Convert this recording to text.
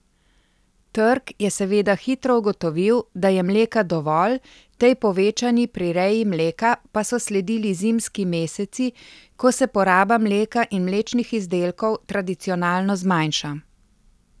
Trg je seveda hitro ugotovil, da je mleka dovolj, tej povečani prireji mleka pa so sledili zimski meseci, ko se poraba mleka in mlečnih izdelkov tradicionalno zmanjša.